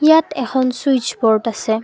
ইয়াত এখন switch board আছে।